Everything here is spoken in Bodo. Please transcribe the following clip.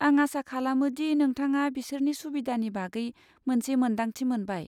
आं आसा खालामो दि नोंथाङा बिसोरनि सुबिदानि बागै मोनसे मोनदांथि मोनबाय।